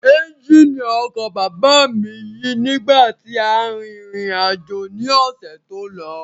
Ẹ́ńjìnì ọkọ̀ bàbá mi yí nígbà tí à ń rírìn àjò ni ọ̀sẹ̀ tó lọ